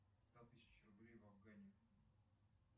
ста тысяч рублей в афгане